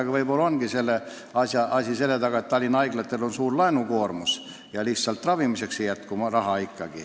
Aga võib-olla on selle hinnangu taga tõsiasi, et Tallinna haiglatel on suur laenukoormus ja lihtsalt ravimiseks ei jätku raha.